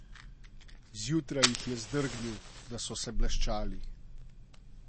Zjutraj jih je zdrgnil, da so se bleščali.